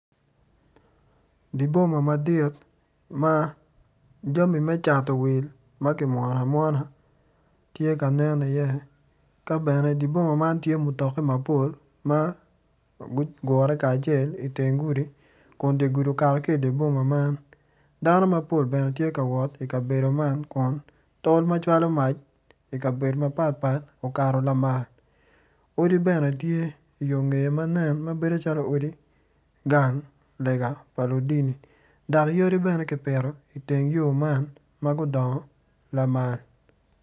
Dye boma madit ma jami me cato wil ma kimwono amwona tye ka nen i iye ka bene dye boma man tye mutoki mapol maguru kacel iteng gudi kun dye gudi okato ki dye boma man dano mapol bene tye kawot idye gudu man kun tol macwalo mac ikabedo mapatpat okato lamal odi bene tye i yongeye manen ma bedo calo odi gang lega pa ludini dok yadi bene gipito iteng yor man ma gudoongo lamal